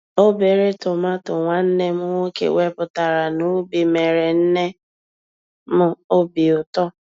Obere tomato nwanne m nwoke wepụtara n'ubi mere nne m obi ụtọ.